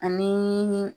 Ani